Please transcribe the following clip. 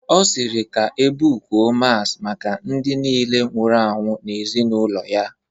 Ọ sịrị ka ebukuo masị maka ndị niile nwụrụ anwụ n'ezinaụlọ ya